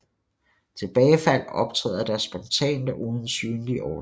Tilbagefald optræder da spontant og uden synlig årsag